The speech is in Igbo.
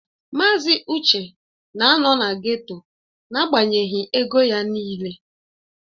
Mazị Uche na-anọ na geto n'agbanyeghị ego ya niile